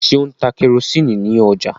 ṣe O ń tá kerosiini ní ọjà?